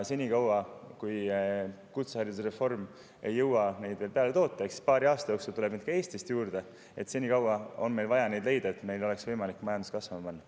Senikaua kui kutseharidusreform ei ole jõudnud neid juurde toota – eks paari aasta jooksul tuleb neid ka Eestis juurde –, on meil vaja neid leida, et meil oleks võimalik majandus kasvama panna.